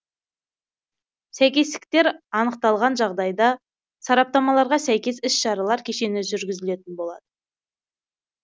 сәйкестіктер анықталған жағдайда сараптамаларға сәйкес іс шаралар кешені жүргізілетін болады